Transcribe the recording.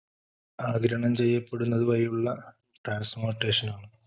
ആഗീരണം ചെയ്യപ്പെടുന്നത് വഴിയുളള transmortation ആണ്.